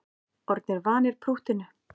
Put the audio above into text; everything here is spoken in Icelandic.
Orðnir vanir prúttinu